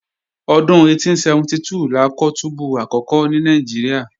Ọdún 1872 la kọ́ túbú àkọ́kọ́ ní Nàìjíríà